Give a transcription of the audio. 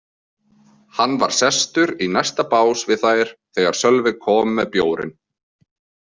Hann var sestur í næsta bás við þær þegar Sölvi kom með bjórinn.